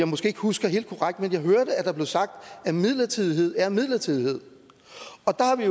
måske ikke husker helt korrekt men jeg hørte at der blev sagt at midlertidighed er midlertidighed